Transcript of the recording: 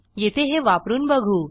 येथे हे वापरून बघू